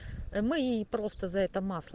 мы просто за это масло